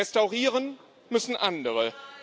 Restaurieren müssen andere.